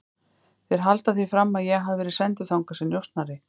Þeir halda því fram að ég hafi verið sendur þangað sem njósnari